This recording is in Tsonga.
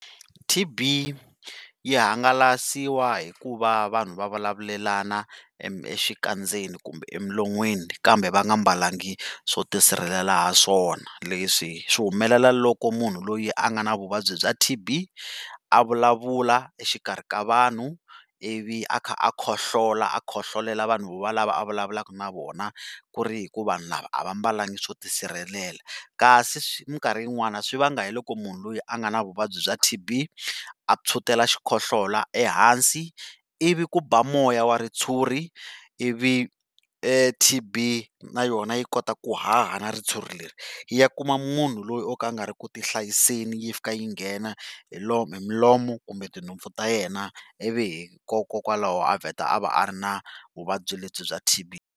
T_B yi hangalasiwa hi ku va vanhu va vulavulelana exikandzeni kumbe enon'wini kambe va nga mbalanga swo ti sirhelela ha swona, leswi swi humelela loko munhu loyi a nga na vuvabyi bya T_B a vulavula exikarhi ka vanhu ivi a kha a khohlola a khohlolela vanhu valava a vulavulaka na vona ku ri hi ku vanhu lava a va mbalanga swo ti sirhelela kasi mikarhi yin'wani swi vanga hi loko munhu loyi a nga na vuvabyi bya T_B a tshwutela xikhohlola ehansi ivi ku ba moya wa ritshuri ivi T_B na yona yi kota ku haha na ritshuri leri yi ya kuma munhu loyi o ka a nga ri ku ti hlayiseni yi fika yi nghena hi hi milomo kumbe tinhompfu ta yena ivi hi kokwalaho a vheta a va a ri na vuvabyi lebyi bya T_B.